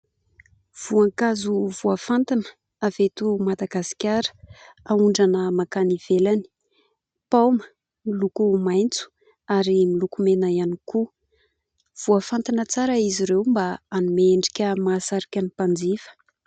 Voankazo voafantina avy eto Madagasikara, aondrana mankany ivelany : paoma miloko maitso, ary miloko mena ihany koa. Voafantina tsara izy ireo mba hanome endrika mahasarika ny mpanjifa.